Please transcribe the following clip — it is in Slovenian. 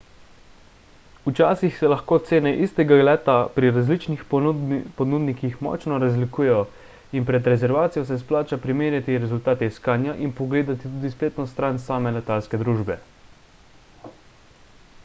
včasih se lahko cene istega leta pri različnih ponudnikih močno razlikujejo in pred rezervacijo se splača primerjati rezultate iskanja in pogledati tudi spletno stran same letalske družbe